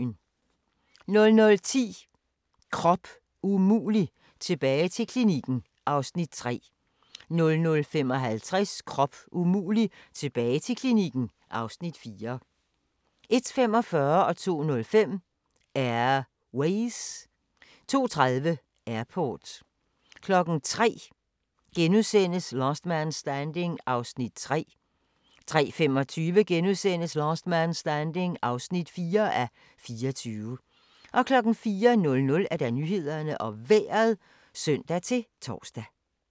00:10: Krop umulig - tilbage til klinikken (Afs. 3) 00:55: Krop umulig - tilbage til klinikken (Afs. 4) 01:45: Air Ways 02:05: Air Ways 02:30: Airport 03:00: Last Man Standing (3:24)* 03:25: Last Man Standing (4:24)* 04:00: Nyhederne og Vejret (søn-tor)